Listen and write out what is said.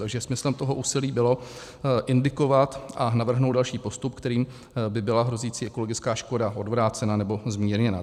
Takže smyslem toho úsilí bylo indikovat a navrhnout další postup, kterým by byla hrozící ekologická škoda odvrácena nebo zmírněna.